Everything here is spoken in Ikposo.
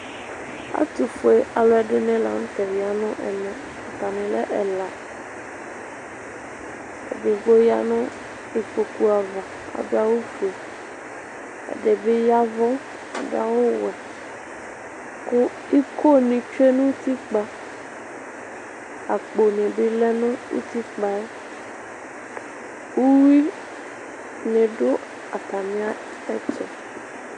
Ɛtʋfue alʋɛdini laŋtɛ ya nʋ eme, atamin'ɛla Edigbo ya nʋ ikpoku ava, adʋ awʋ fue, ɛdibi yavʋ, adʋ awʋ wɛ kʋ iko ni tsoe nu'tikpa, akponi bi lɛ nʋ'tikpa yɛ Uyui ni dʋ atamiɛtʋ